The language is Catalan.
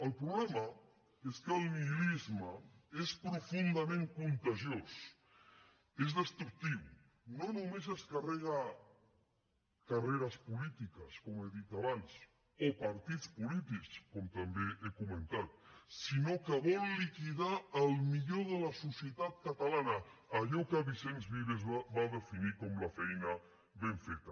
el problema és que el nihilisme és profundament contagiós és destructiu no només es carrega carreres polítiques com he dit abans o partits polítics com també he comentat sinó que vol liquidar el millor de la societat catalana allò que vicens vives va definir com la feina ben feta